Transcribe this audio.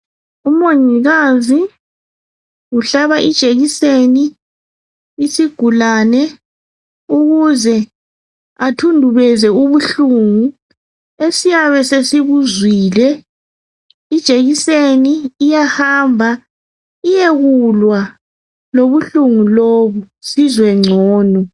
Umongikazi uhlaba ijekiseni isigulane ukuze athundubeze ubuhlungu esiyabe sesibuzwile, ijekiseni iyahamba iyekulwa lobuhlungu lobu sizwe ngcono.